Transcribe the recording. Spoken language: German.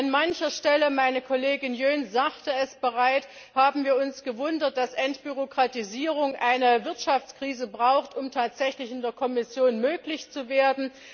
An mancher Stelle meine Kollegin Jöns sagte es bereits haben wir uns gewundert, dass Entbürokratisierung eine Wirtschaftskrise braucht, um in der Kommission tatsächlich möglich zu werden.